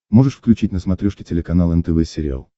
можешь включить на смотрешке телеканал нтв сериал